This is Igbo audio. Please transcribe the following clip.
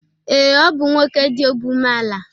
Ee, ọ bụ nwoke dị obi umeala